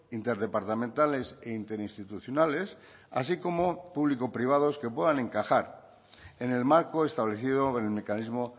interdepartamentales e interinstitucionales así como público privados que puedan encajar en el marco establecido en el mecanismo